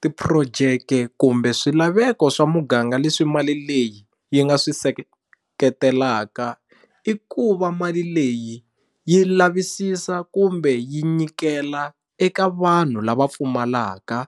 Ti-project kumbe swilaveko swa muganga leswi mali leyi yi nga swi seketelaka i ku va mali leyi yi lavisisa kumbe yi nyikela eka vanhu lava pfumalaka